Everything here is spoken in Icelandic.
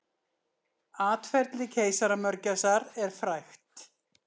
Atferli keisaramörgæsar er frægt.